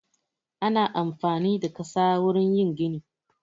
Ana amfani da ƙasa wurin yin gini